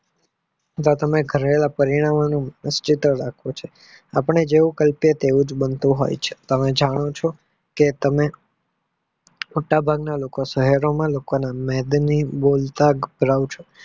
કરેલા પરિણામો નું પાસિટલ આપે છે આપણે જોય તેવુંજ બનતું હોય છે તમે જાણો છો કે તમે મોટા ભાગના લોકો શહેરોના લોકો